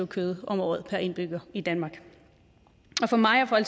kød om året per indbygger i danmark og for mig og